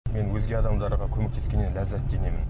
мен өзге адамдарға көмектескеннен ләззат жинаймын